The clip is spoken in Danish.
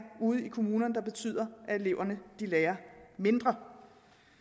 ude i kommunerne der betyder at eleverne lærer mindre